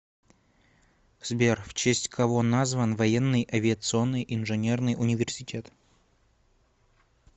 сбер в честь кого назван военный авиационный инженерный университет